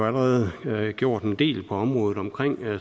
allerede har gjort en del på området omkring